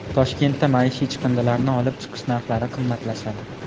Toshkentda maishiy chiqindilarni olib chiqish narxlari qimmatlashadi.